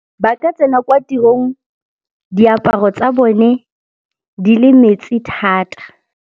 Ba ka tsena kwa tirong diaparo tsa bone di le metsi thata.